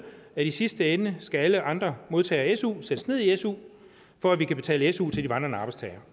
at i sidste ende skal alle andre modtagere af su sættes ned i su for at vi kan betale su til de vandrende arbejdstagere